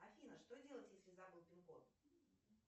афина что делать если забыл пин код